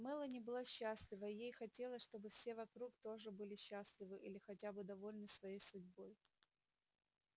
мелани была счастлива и ей хотелось чтобы все вокруг тоже были счастливы или хотя бы довольны своей судьбой